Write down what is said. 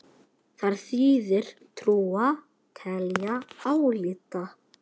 Þar þýðir trúa: telja, álíta.